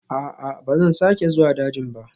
A'a, ba zan sake zuwa dajin ba